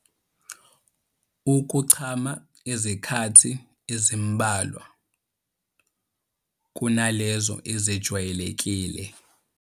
Ukuchama izikhathi ezimbalwa kunalezo ezijwayelekile.